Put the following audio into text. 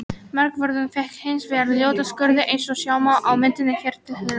Markvörðurinn fékk hins vegar ljóta skurði eins og sjá má á myndinni hér til hliðar.